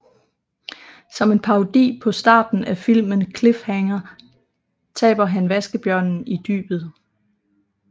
Som en parodi på starten af filmen Cliffhanger taber han vaskebjørnen i dybet